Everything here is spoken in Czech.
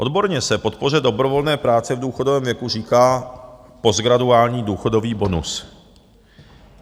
Odborně se podpoře dobrovolné práce v důchodovém věku říká postgraduální důchodový bonus.